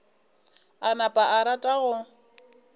a napa a rata go